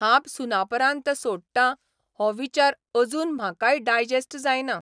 हांब सुनापरान्त 'सोडटां हो विचार अजून म्हाकाय डायजेस्ट जायना.